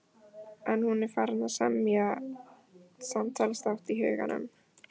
En nú er hún farin að semja samtalsþátt í huganum.